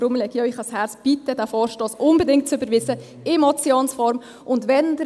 Deshalb lege ich Ihnen ans Herz, diesen Vorstoss unbedingt in Motionsform zu überweisen.